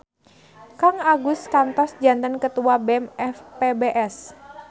Kang Agus kantos janten ketua BEM FPBS